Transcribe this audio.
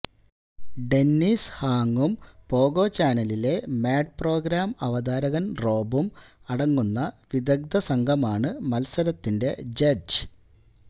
Dennis ഹാങ്ങും Pogo ചാനലിലെ mad programme അവതാരകന് റോബും അടങ്ങുന്ന വിദഗ്ധ സംഘമാണ് മത്സരത്തിന്റെ ജഡ്ജ്